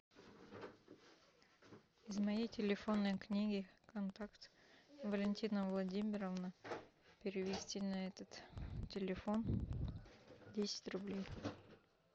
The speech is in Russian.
из моей телефонной книги контакт валентина владимировна перевести на этот телефон десять рублей